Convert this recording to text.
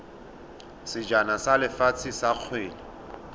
sejana sa lefatshe sa kgwele